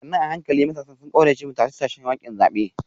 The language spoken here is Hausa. sannu a hankali matasan sun kauracewa tashe-tashen hankulan zabe